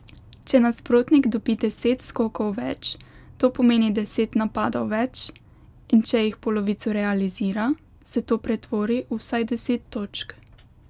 Če nasprotnik dobi deset skokov več, to pomeni deset napadov več, in če jih polovico realizira, se to pretvori v vsaj deset točk.